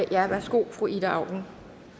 ja værsgo fru ida auken